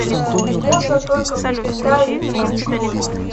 можно только представить открой